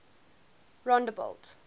rondebult